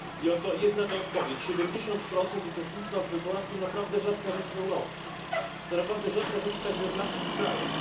I oto jest na to odpowiedź 70 uczestnictwa w wyborach to naprawdę rzadka rzecz w Europie, to naprawdę rzadka rzecz także w naszych krajach.